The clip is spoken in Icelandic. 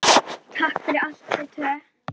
Takk fyrir allt, þið tvö.